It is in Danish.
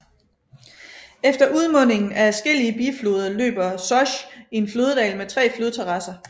Efter udmundingen af adskillige bifloder løber Sosj i en floddal med tre flodterrasser